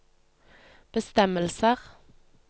bestemmelser